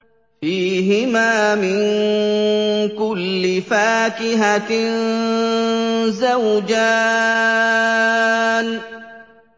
فِيهِمَا مِن كُلِّ فَاكِهَةٍ زَوْجَانِ